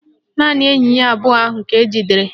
Naanị enyi abụọ ahụ ka ejidere